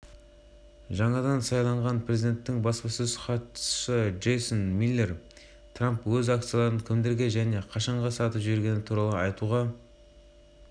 басылымының хабарлауынша бар байлығы млрд долларға бағаланған миллиардер және жылдан бастап ақ үй тағына отыратын президент